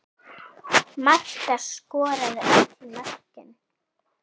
Marta skoraði öll mörkin.